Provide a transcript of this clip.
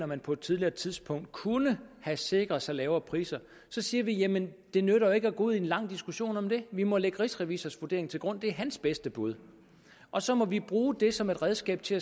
man på et tidligere tidspunkt kunne have sikret sig lavere priser så siger vi jamen det nytter jo ikke at gå ud i en lang diskussion om det vi må lægge rigsrevisors vurdering til grund det er hans bedste bud og så må vi bruge det som et redskab til